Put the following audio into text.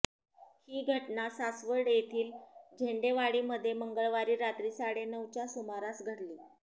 ही घटना सासवड येथील झेंडेवाडीमध्ये मंगळवारी रात्री साडे नऊच्या सुमारास घडली